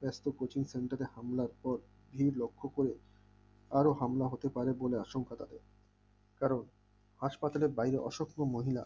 বেশ তো coaching center এ হামলার পর ধীর লক্ষ করে আরো হামলা হতে পারে বলে অসংখ্য জানিয়েছে কারণ হাসপাতালের বাইরে অসংক্ষ মহিলা